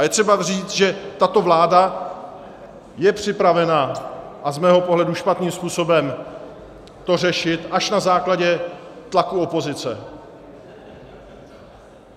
A je třeba říci, že tato vláda je připravena, a z mého pohledu špatným způsobem, to řešit až na základě tlaku opozice.